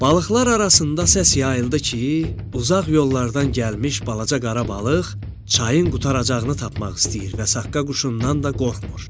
Balıqlar arasında səs yayıldı ki, uzaq yollardan gəlmiş balaca qara balıq çayın qurtaracağını tapmaq istəyir və Saqqa quşundan da qorxmur.